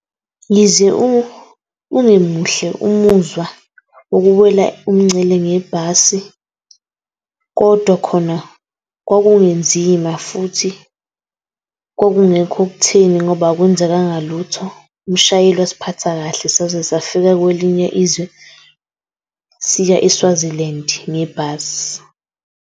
Yize ungemuhle umuzwa wokuwela umngcele ngebhasi, kodwa khona kwakungenzima futhi kwakungekho okuthini ngoba akwenzekanga lutho. Umshayeli wasiphatha kahle saze safika kwelinye izwe siya e-Swaziland ngebhasi.